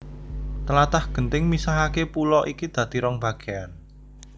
Tlatah genting misahaké pulo iki dadi rong bagéyan